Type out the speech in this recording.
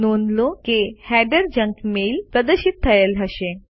નોંધ લો કે હેડર જંક મેઇલ પ્રદર્શિત થયેલ હશે